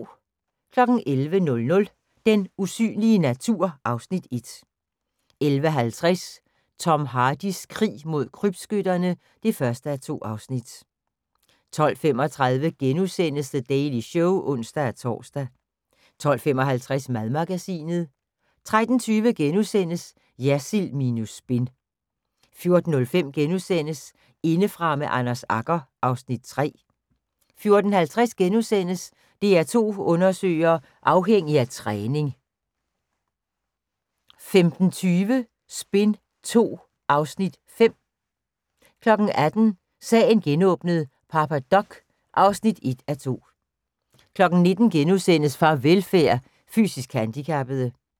11:00: Den usynlige natur (Afs. 1) 11:50: Tom Hardys krig mod krybskytterne (1:2) 12:35: The Daily Show *(ons-tor) 12:55: Madmagasinet 13:20: Jersild minus spin * 14:05: Indefra med Anders Agger (Afs. 3)* 14:50: DR2 Undersøger: Afhængig af træning * 15:20: Spin II (Afs. 5) 18:00: Sagen genåbnet: Papa Doc (1:2) 19:00: Farvelfærd: Fysisk handikappede *